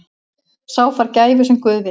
Sá fær gæfu sem guð vill.